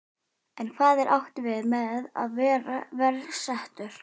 En hvað er átt við með að vera verr settur?